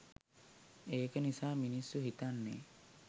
ඒක නිසා මිනිස්සු හිතන්නේ